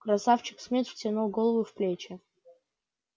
красавчик смит втянул голову в плечи